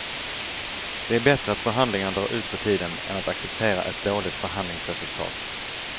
Det är bättre att förhandlingarna drar ut på tiden än att acceptera ett dåligt förhandlingsresultat.